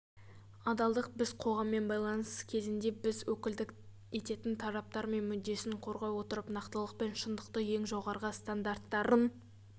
адалдық біз қоғаммен байланыс кезінде біз өкілдік ететін тараптар мүддесін қорғай отырып нақтылық пен шындықтың ең жоғарғы стандарттарын